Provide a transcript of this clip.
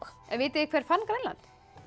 en vitið þið hver fann Grænland